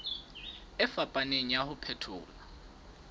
e fapaneng ya ho phethola